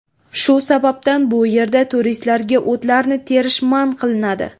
Shu sababdan bu yerda turistlarga o‘tlarni terish man qilinadi.